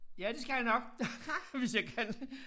Ja det skal jeg nok hvis jeg kan